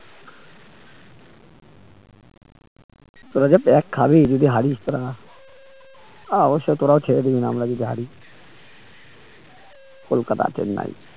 তোরা যা pack খাবি যদি হারিস তোরা আহ অবশ্যই তোরাও খেয়ে দিবি আমরা যদি হারি কলকাতা চেন্নাই